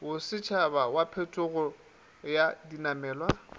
bosetšhaba wa phetogelo ya dinamelwa